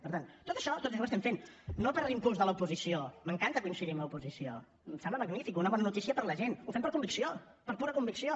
per tant tot això tot això ho estem fent no per impuls de l’oposició m’encanta coincidir amb l’oposició em sembla magnífic una bona notícia per a la gent ho fem per convicció per pura convicció